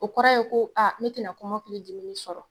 O kɔrɔ ye ko aa ne tɛna kɔmakili dimili sɔrɔ